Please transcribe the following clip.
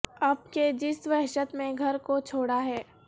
اب کے جس وحشت میں گھر کو چھوڑا ہے